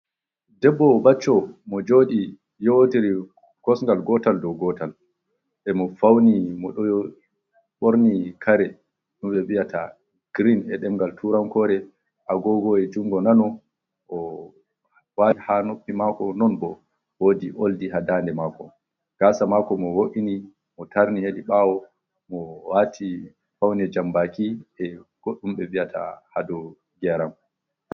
Ɗeɓbo bacco mo jodi yowotiri kosgal gotal do gotal, e mo fauni mo do borni kare dumbe bi'ata girin e ɗengal turankore agogô e jungo nano o wai ha noppi mako non bo wodi oldi ha danɗe mako, gasa mako mo wo’ini mo tarni hedi bawo mo wati fauni jambaki e goddumbe bi'ata hadogyeram.